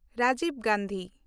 Rajib Gandhi